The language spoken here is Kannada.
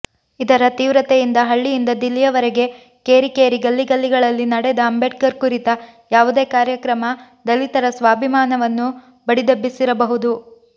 ಇದರ ತೀವ್ರತೆಯಿಂದ ಹಳ್ಳಿಯಿಂದ ದಿಲ್ಲಿಯವರೆಗೆ ಕೇರಿಕೇರಿ ಗಲ್ಲಿಗಲ್ಲಿಗಳಲ್ಲಿ ನಡೆದ ಅಂಬೇಡ್ಕರ್ ಕುರಿತ ಯಾವುದೇ ಕಾರ್ಯಕ್ರಮ ದಲಿತರ ಸ್ವಾಭಿಮಾನವನ್ನು ಬಡಿದೆಬ್ಬಿಸಿರಬಹುದು